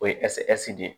O ye de ye